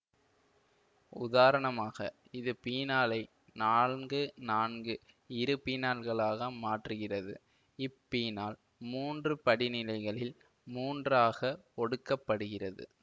உதாரணமாக இது பீனாலை நான்கு நான்கு இருபீனாலாக மாற்றுகிறது இப்பீனால் மூன்று படிநிலைகளில் மூன்றாகக் ஒடுக்கப்படுகிறது